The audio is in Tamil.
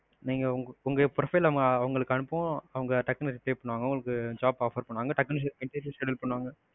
நீங்க உங்க profile அவங்களுக்கு அனுப்புவோம், அவங்க tuck னு reply பண்ணுவாங்க உங்களுக்கு job offer பண்ணுவாங்க tuck னு interview schedule பண்ணுவாங்க.